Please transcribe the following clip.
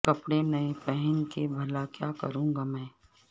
کپڑے نئے پہن کے بھلا کیا کروں گا میں